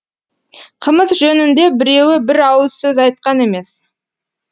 қымыз жөнінде біреуі бір ауыз сөз айтқан емес